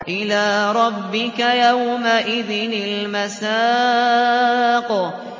إِلَىٰ رَبِّكَ يَوْمَئِذٍ الْمَسَاقُ